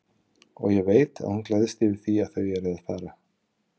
Og ég veit að hún gleðst yfir því að þau eru að fara.